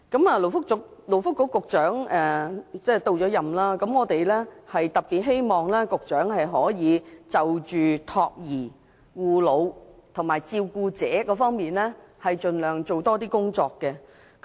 勞工及福利局局長已上任，我們特別希望局長可就託兒、護老和照顧者等方面多做工作。